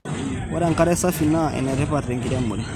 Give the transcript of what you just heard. Ore enkare safi naa enetipat tenkiremore.